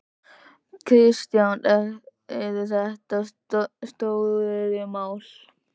Kristján: Eru þetta stóriðjumál?